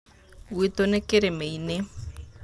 Gwĩtũ nĩ kĩrĩma-inĩ.